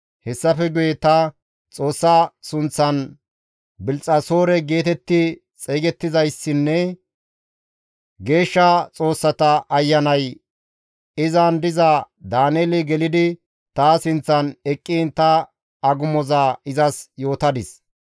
Hessafe guye ta Xoossa sunththan Bilxxasoore geetetti xeygettizayssinne geeshsha xoossata ayanay izan diza Daaneeli gelidi ta sinththan eqqiin ta agumoza izas yootadis.